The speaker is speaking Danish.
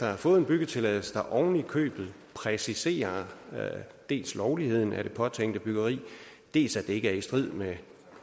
have fået en byggetilladelse der ovenikøbet præciserer dels lovligheden af det påtænkte byggeri dels at det ikke er i strid med